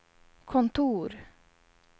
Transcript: kontor